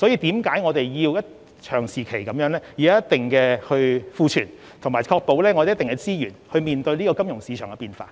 正因如此，我們必須長期維持一定的儲備，以及確保有一定的資源面對金融市場的變化。